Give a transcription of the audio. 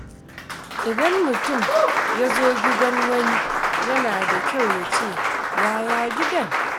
Idan mutum ya zo gidan wani, yana da kyau ya ce “Yaya gidan?”